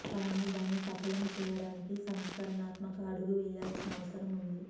కానీ దాన్ని సఫలం చేయడానికి సంస్కరణాత్మక అడుగు వేయాల్సిన అవసరం ఉంది